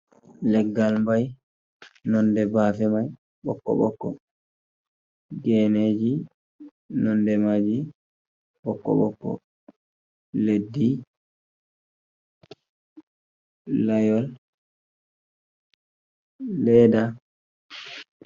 Leggal mbai nonde bafe mai bokko bokko, geneji nonde maji bokko bokko leddi layol leda.